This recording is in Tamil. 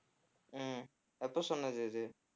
உம் எப்போ சொன்னது இது